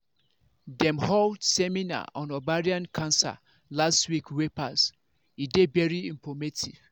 dem hold seminar on ovarian cancer last week wey pass e dey very informative